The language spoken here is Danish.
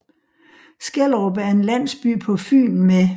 Skellerup er en landsby på Fyn med